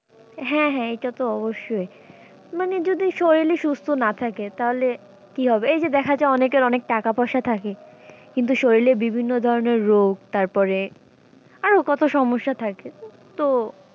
হ্যাঁ হ্যাঁ এইটা তো অবশ্যই মানে যদি শলীল ই সুস্থ না থাকে তাহলে কী হবে এই যে দেখা যায় অনেকের অনেক টাকা পয়সা থাকে কিন্তু শলীলে বিভিন্ন ধরনের রোগ তারপরে আরও কত সমস্যা থাকে তো,